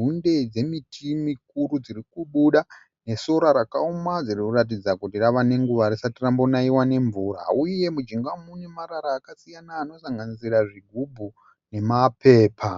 hunde dzemiti mikuru dziri kubuda nesora rakaoma riri kuratidza kuti rava nenguva risati rambonaiwa nemvura uye mujinga umu mune marara akasiyana anosanganisira zvigubhu nemapepa.